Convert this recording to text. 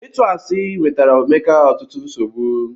Ịtu asi wetara Emeka ọtụtụ nsogbu.